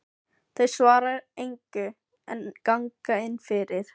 Þau svara engu en ganga inn fyrir.